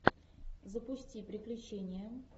запусти приключения